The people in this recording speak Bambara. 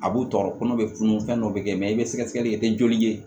A b'u tɔɔrɔ kɔnɔ bɛ funu fɛn dɔ bɛ kɛ mɛ i bɛ sɛgɛsɛgɛli kɛ i tɛ joli ye